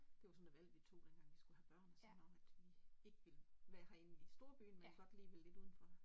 Det var sådan et valg vi tog dengang vi skulle have børn og sådan om at vi ikke ville være herinde i storbyen men godt lige ville lidt udenfor